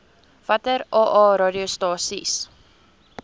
watter aa radiostasies